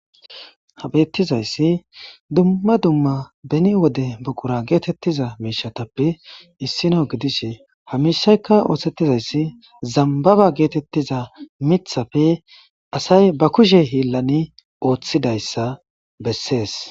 habettizayssi dumma dumma beni wode buqura geetettiza miishatappe issino gidishe hamishaykka oosettizayssi zambaba geetettiza mithappe asay ba kushe hiillani ooththidayssa bessees